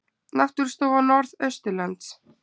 Náttúrustofa Norðausturlands